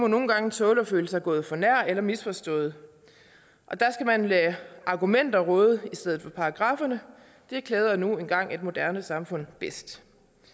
nogle gange tåle at føle sig gået for nær eller misforstået og der skal man lade argumenter råde i stedet for paragraffer det klæder nu engang et moderne samfund bedst